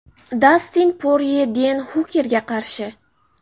Dastin Porye Den Hukerga qarshi.